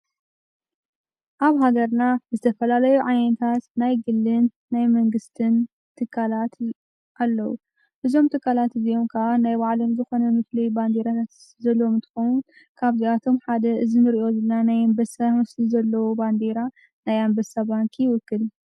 ኣብ ሃገርና ዝተፈላለዩ ዓየንታት ናይ ግልን ናይ ምንግሥትን ትካላት ኣለዉ ብዞም ተካላት እዚዮምካ ናይ ባዕለም ዝኾነ ምፍል ባንዲራት ዘለዎ ምትኮኑት ካብዚኣቶም ሓደ እዝሚ ርእዮዝና ናይ ኣምበሣምስቲ ዘለዉ ባንዲራ ናይ ኣምበሳ ባንኪ ይውክል።